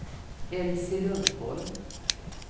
Elsie Lundholm